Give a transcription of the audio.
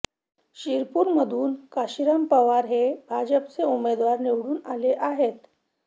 शिरपूरमधून कांशीराम पावरा हे भाजपचे उमेदवार निवडून आले आहेत